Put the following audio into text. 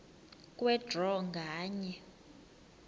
kwe draw nganye